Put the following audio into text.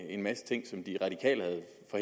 i aviserne og